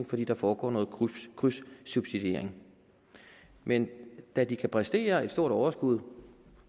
fordi der foregår noget krydssubsidiering men da de kan præstere et stort overskud